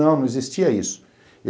Não, não existia isso.